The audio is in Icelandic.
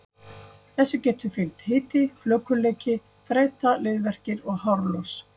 Þessu getur fylgt hiti, flökurleiki, þreyta, liðverkir og hárlos.